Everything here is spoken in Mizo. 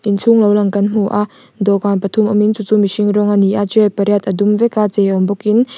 inchhung lo lang kan hmu a dawhkan pathum awmin chu chu mihring rawng a ni a chair pariat a dum veka chei awm bawkin--